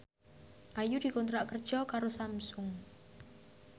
Ayu dikontrak kerja karo Samsung